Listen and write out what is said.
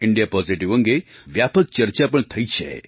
India Positive અંગે વ્યાપક ચર્ચા પણ થઈ છે